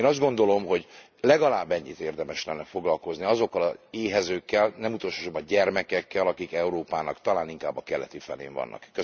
Én azt gondolom, hogy legalább ennyit érdemes lenne foglalkozni azokkal az éhezőkkel, nem utolsó sorban gyermekekkel, akik Európának talán inkább a keleti felén vannak.